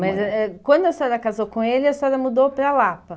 Mas eh quando a senhora casou com ele, a senhora mudou para Lapa?